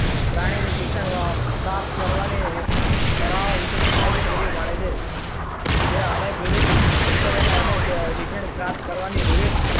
પ્રાણીની શિક્ષણ પ્રાપ્ત કરવાની કયા વિષયની માહિતી પૂરી પાડે છે જે અનેક વિવિધ સંસાધનો અને શિક્ષણ પ્રાપ્ત કરવાની વિવિધ,